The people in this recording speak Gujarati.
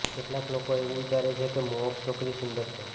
કેટલાક લોકો એવું વિચારે છે કે મોહક છોકરી સુંદર છે